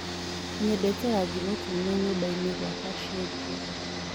nyendete rangĩ mũtũne nyũmbaini gwakwa cenjĩa